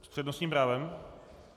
S přednostním právem?